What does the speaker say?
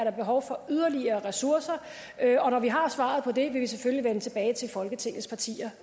er behov for yderligere ressourcer og når vi har svaret på det vil vi selvfølgelig vende tilbage til folketingets partier